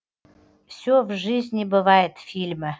все в жизни бывает фильмі